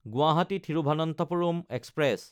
Guwahati Thiruvananthapuram express